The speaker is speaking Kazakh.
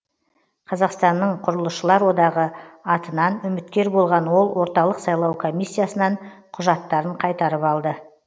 қазақстанның құрылысшылар одағы атынан үміткер болған ол орталық сайлау комиссиясынан құжаттарын қайтарып алды